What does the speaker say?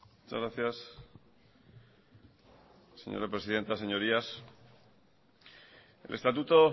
muchas gracias señora presidenta señorías el estatuto